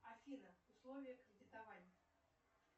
афина условия кредитования